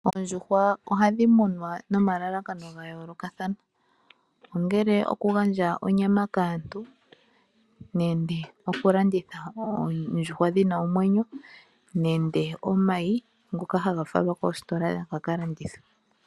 Oondjuhwa ohadhi munwa nomalalakano ga yookathana, ongele okugandja onyama kaantu nenge okulanditha oondjuhwa dhi na omwenyo nenge omayi ngoka haga falwa koositola ga ka landithwe.